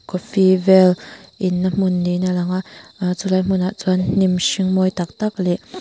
coffee vel inna hmun niin a lang a aa chulai hmunah chuan hnim hring mawi tak tak leh--